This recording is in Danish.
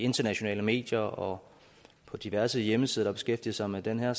i internationale medier og på diverse hjemmesider der beskæftiger sig med det her